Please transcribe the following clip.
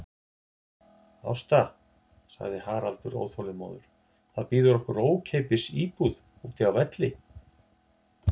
Ásta, sagði Haraldur óþolinmóður, það bíður okkar ókeypis íbúð úti á Velli.